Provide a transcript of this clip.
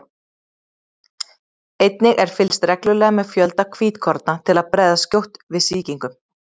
Einnig er fylgst reglulega með fjölda hvítkorna til að bregðast skjótt við sýkingum.